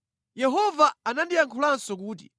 Yehova anandiyankhulanso kuti,